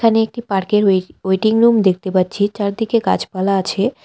এখানে একটি পার্কের ওয়ে ওয়েটিং রুম দেখতে পাচ্ছি চারদিকে গাছপালা আছে।